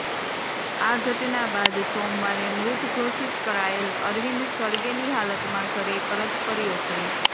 આ ઘટના બાદ સોમવારે મૃત ઘોષિત કરાયેલ અરવિંદ સળગેલી હાલતમાં ઘરે પરત ફર્યો છે